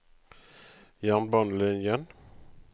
jernbanelinjen